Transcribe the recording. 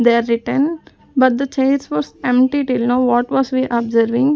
they are written but the chairs was empty till now what was we observing.